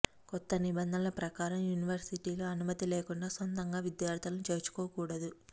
కొత్త నిబంధనల ప్రకారం యూనివర్సిటీలు అనుమతి లేకుండా సొంతంగా విద్యార్థులను చేర్చుకోకూడదు